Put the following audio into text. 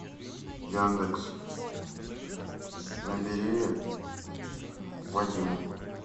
яндекс набери вадиму